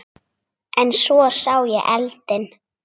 En svo sá ég eldinn.